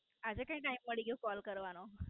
આજે ક્યાં Time મળી ગયો કોલ કરવાનો?